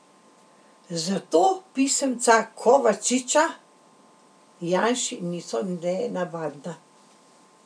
Zato pisemca Kovačiča Janši niso nenavadna.